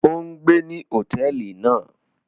O n gbé ní hotẹẹli náà!